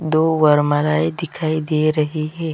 दो वरमालाए दिखाई दे रही है।